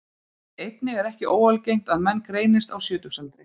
Einnig er ekki óalgengt að menn greinist á sjötugsaldri.